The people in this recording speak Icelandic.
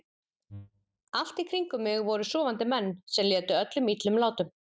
Allt í kring um mig voru sofandi menn sem létu öllum illum látum.